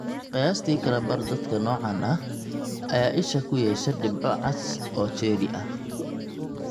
Qiyaastii kala badh dadka noocaan ah ayaa isha ku yeesha dhibco cas oo cherry ah.